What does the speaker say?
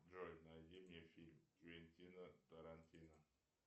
джой найди мне фильм квентина тарантино